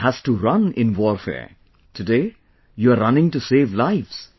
One has to run in warfare; today you are running to save lives